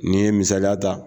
N'i ye misaliya ta